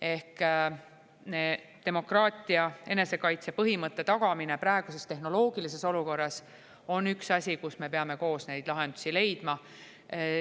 Ehk demokraatia enesekaitse põhimõtte tagamine praeguses tehnoloogilises olukorras on üks asi, kus me peame koos neid lahendusi leidma.